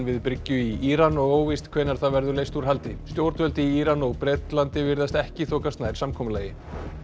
við bryggju í Íran og óvíst hvenær það verður leyst úr haldi stjórnvöld í Íran og Bretlandi virðast ekki þokast nær samkomulagi